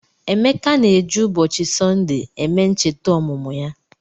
Emeka na-eji ụbọchị Sọnde eme ncheta ọmụmụ ya.